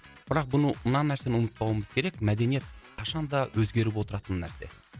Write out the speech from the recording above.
бірақ бұны мына нәрсені ұмытпауымыз керек мәдениет қашан да өзгеріп отыратын нәрсе